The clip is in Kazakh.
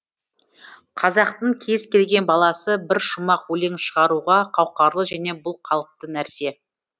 қазақтың кез келген баласы бір шумақ өлең шығаруға қауқарлы және бұл қалыпты нәрсе